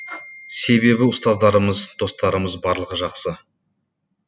себебі ұстаздарымыз достарымыз барлығы жақсы